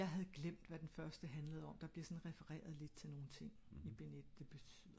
ja fordi jeg havde glemt hvad den første handlede om